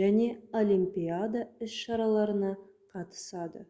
және олимпиада іс-шараларына қатысады